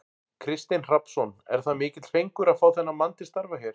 Kristinn Hrafnsson: Er það mikill fengur að fá þennan mann til starfa hér?